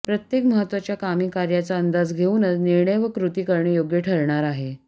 प्रत्येक महत्त्वाच्या कामी कार्याचा अंदाज घेऊनच निर्णय व कृती करणे योग्य ठरणार आहे